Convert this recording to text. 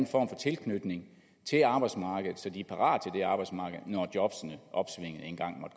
for tilknytning til arbejdsmarkedet så de er parate til det arbejdsmarked når jobbene